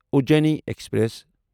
Ujjaini express